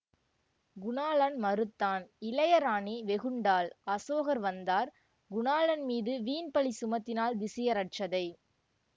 குணாளன் மறுத்தான் இளையராணி வெகுண்டாள் அசோகர் வந்தார் குணாளன் மீது வீண் பழி சுமத்தினாள் திசியரட்சதை